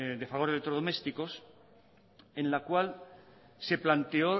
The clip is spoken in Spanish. de fagor electrodomésticos en la cual se planteó